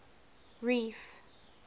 reef